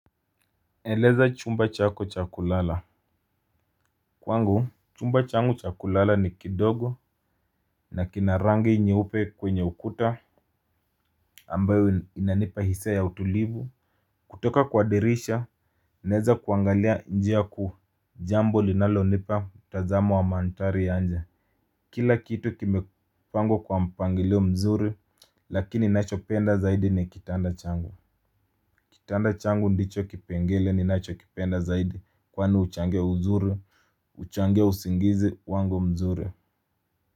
Eleza chumba chako cha kulala. Kwangu chumba changu cha kulala ni kidogo. Na kina rangi nyeupe kwenye ukuta ambayo inanipa hisia ya utulivu. Kutoka kwa dirisha naeza kuangalia njia ya ku jambo linalonipa mtazamo wa mandhari ya nje. Kila kitu kimepangwa kwa mpangilio mzuri lakini nachopenda zaidi ni kitanda changu. Kitanda changu ndicho kipengele ni nachokipenda zaidi kwani huchangia uzuru huchangia usingizi wangu mzuri.